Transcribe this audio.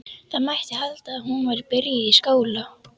Það mætti halda að hún væri byrjuð í skóla.